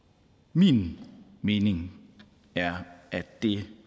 min mening er at det